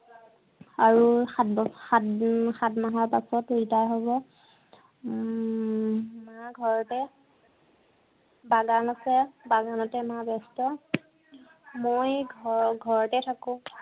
আৰু সাত বছৰ, সাত উম সাাত মাহৰ পিছত retire হব। উম মা ঘৰতে। বাগান আছে। বাগানতে মা ব্য়স্ত। মই ঘৰ~ঘৰতে থাকো।